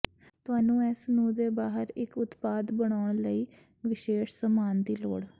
ਤੁਹਾਨੂੰ ਇਸ ਨੂੰ ਦੇ ਬਾਹਰ ਇੱਕ ਉਤਪਾਦ ਬਣਾਉਣ ਲਈ ਵਿਸ਼ੇਸ਼ ਸਮਾਨ ਦੀ ਲੋੜ